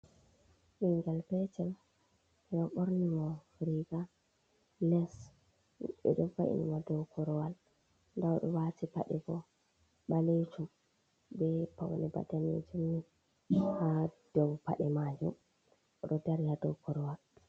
Bingel petel 6edo borni mo riga leash. Bedo va’ini mo dou korowal. Nda odo wati pade bo balejum be paune bana danajum ni ha dou pade majum. Odo dari ha dou korowal.